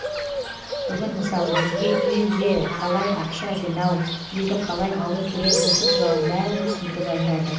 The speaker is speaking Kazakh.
бүгін мысалы бізге үйге қалай ақша жинау үйді қалай алу керек осы туралы бәрін түсіндіріп айтады